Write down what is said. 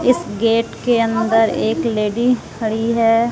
इस गेट के अंदर एक लेडी खड़ी है।